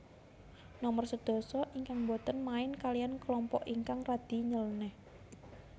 Nomer sedasa ingkang boten main kaliyan kelompok ingkang radi nylenéh